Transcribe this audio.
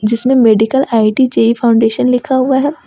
जिसमें medical IIT JEE foundation लिखा हुआ है।